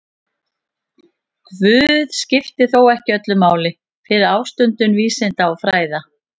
Guð skipti þó ekki öllu máli fyrir ástundun vísinda og fræða.